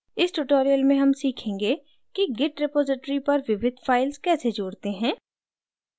इस tutorial में हम सीखेंगे कि: git repository पर विविध files कैसे जोड़ते हैं